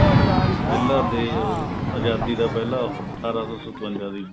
ਪਹਿਲਾਂ ਦੇ ਉਹ ਆਜਾਦੀ ਦਾ ਪਹਿਲਾਂ ਅਠਾਰਾਂ ਸੋ ਸਤਵੰਜਾ ਸੀ